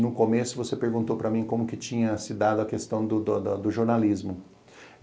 No começo você perguntou para mim como que tinha se dado a questão do jornalismo.